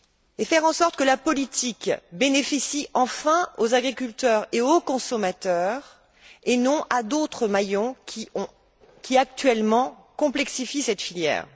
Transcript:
et faire en sorte que la politique profite enfin aux agriculteurs et aux consommateurs et non à d'autres maillons qui, actuellement, complexifient cette filière.